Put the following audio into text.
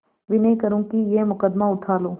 विनय करुँ कि यह मुकदमा उठा लो